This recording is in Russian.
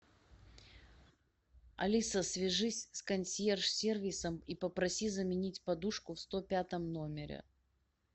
алиса свяжись с консьерж сервисом и попроси заменить подушку в сто пятом номере